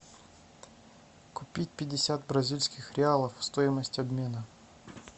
купить пятьдесят бразильских реалов стоимость обмена